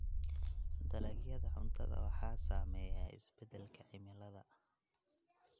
Dalagyada cuntada waxaa saameeya isbeddelka cimilada.